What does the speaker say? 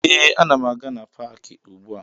Ee, ana m aga na paakị ugbua